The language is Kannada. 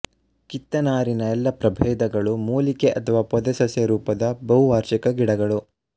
ಕಿತ್ತನಾರಿನ ಎಲ್ಲ ಪ್ರಭೇದಗಳೂ ಮೂಲಿಕೆ ಅಥವಾ ಪೊದೆ ಸಸ್ಯರೂಪದ ಬಹುವಾರ್ಷಿಕ ಗಿಡಗಳು